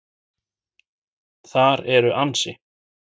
Þar eru ansi